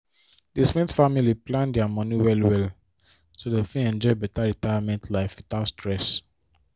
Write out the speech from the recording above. di smith family plan their money well well so dem fit enjoy better retirement life without stress